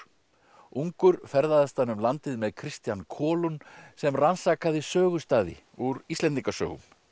ungur ferðaðist hann um landið með Kristian Kålund sem rannsakaði sögustaði úr Íslendingasögum